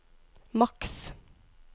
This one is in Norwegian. maks